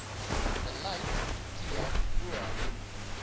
beleid t o